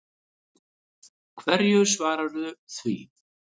Hverju svaraðu því?